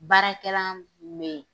Baarakɛlan tun bɛ ye.